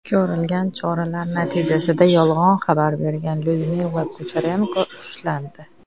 Ko‘rilgan choralar natijasida yolg‘on xabar bergan Lyudmila Kucherenko ushlandi.